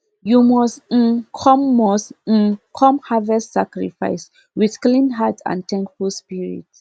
you must um come must um come harvest sacrifice with clean heart and thankful spirit